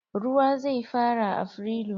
Ruwa zai fara afrilu.